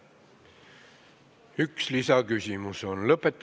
Üks lisaküsimus on ette nähtud.